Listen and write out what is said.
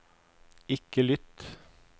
ikke lytt